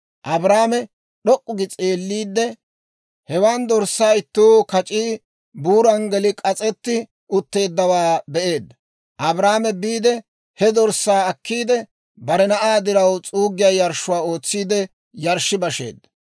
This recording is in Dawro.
Abrahaame d'ok'k'u gi s'eelliide, hewaan dorssaa ittuu kac'ii buuran geli k'as'etti utteeddawaa be'eedda. Abrahaame biide he dorssaa akkiide, bare na'aa diraw s'uuggiyaa yarshshuwaa ootsiide yarshshi basheedda.